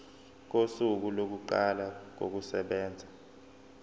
kosuku lokuqala kokusebenza